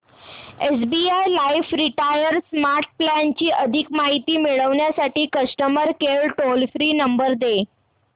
SBI life retire smart plan ची अधिक माहिती मिळविण्यासाठी customer care toll free number दे